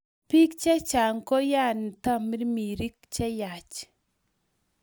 Bik che chang koyani tamirmirik cheyach